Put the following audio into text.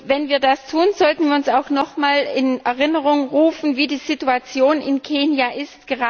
Wenn wir das tun, sollten wir uns auch noch einmal in Erinnerung rufen, wie die Situation in Kenia ist.